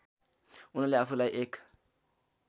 उनले आफूलाई एक